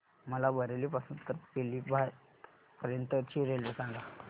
मला बरेली पासून तर पीलीभीत पर्यंत ची रेल्वे सांगा